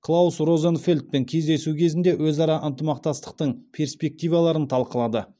клаус розенфельдпен кездесу кезінде өзара ынтымақтастықтың перспективаларын талқылады